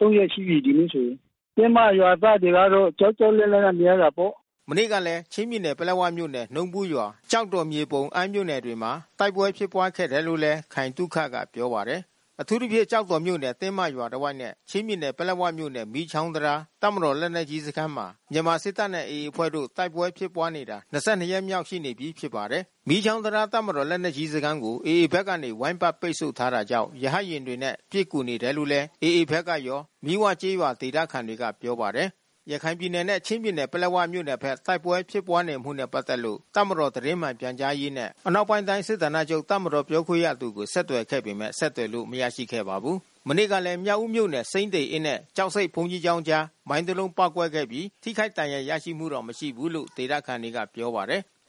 ၃ ရက်ရှိပြီး ဒီနေ့ဆိုရင်။ တင်းမရွာသားတွေကတော့ ကြောက်ကြောက်လန့်လန့်နဲ့ နေရတာပေါ့။” မနေ့ကလည်း ချင်းပြည်နယ် ပလက်ဝမြို့နယ် နှုံးဘူးရွာ၊ ကျောက်တော်၊ မြေပုံ၊ အမ်းမြို့နယ်တွေမှာ တိုက်ပွဲဖြစ်ပွားခဲ့တယ်လို့လည်း ခိုင်သုခကပြောပါတယ်။ အထူးသဖြင့် ကျောက်တော်မြို့နယ် တင်းမရွာတဝိုက်နဲ့ ချင်းပြည်နယ် ပလက်ဝမြို့နယ် မီးချောင်းတံတား တပ်မတော်လက်နက်ကြီးစခန်းမှာ မြန်မာစစ်တပ်နဲ့ AA အဖွဲ့တို့ တိုက်ပွဲဖြစ်ပွားနေတာ၂၂ ရက်မြောက်ရှိနေပြီ ဖြစ်ပါတယ်။ မီးချောင်းတံတား တပ်မတော် လက်နက်ကြီးစခန်းကို AA ဘက်ကနေ ဝိုင်းပတ်ပိတ်ဆို့ထားတာကြောင့် ရဟတ်ယာဉ်တွေနဲ့ ပစ်ကူနေတယ်လို့လည်း AA ဘက်ကရော မီးဝကျေးရွာဒေသခံတွေက ပြောပါတယ်။ ရခိုင်ပြည်နယ်နဲ့ ချင်းပြည်နယ် ပလက်ဝမြို့နယ်ဘက်တ ိုက်ပွဲဖြစ်ပွားနေမှုနဲ့ ပတ်သက်လို့ တပ်မတော်သတင်းမှန်ပြန်ကြားရေးနဲ့ အနောက်ပိုင်းတိုင်း စစ်ဌာနချုပ် တပ်မတော်ပြောခွင့်ရသူကို ဆက်သွယ်ခဲ့ပေမဲ့ ဆက်သွယ်လို့ မရရှိခဲ့ပါဘူး။ မနေ့ကလည်း မြောက်ဦးမြို့နယ် စိမ်းသေအင်းနဲ့ ကျောက်ဆိပ်ဘုန်းကြီးကျောင်းအကြား မိုင်း တလုံး ပေါက်ကွဲခဲ့ပြီး ထိခိုက်ဒဏ်ရာရရှိမှု မရှိဘူးလို့ ဒေသခံတွေက ပြောပါတယ်။